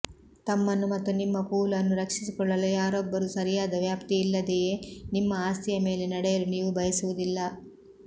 ತಮ್ಮನ್ನು ಮತ್ತು ನಿಮ್ಮ ಪೂಲ್ ಅನ್ನು ರಕ್ಷಿಸಿಕೊಳ್ಳಲು ಯಾರೊಬ್ಬರೂ ಸರಿಯಾದ ವ್ಯಾಪ್ತಿಯಿಲ್ಲದೆಯೇ ನಿಮ್ಮ ಆಸ್ತಿಯ ಮೇಲೆ ನಡೆಯಲು ನೀವು ಬಯಸುವುದಿಲ್ಲ